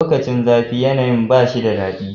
Lokacin zafi yanayi ba shi da dadi.